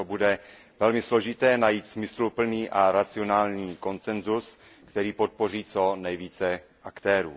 Proto bude velmi složité najít smysluplný a racionální konsenzus, který podpoří co nejvíce aktérů.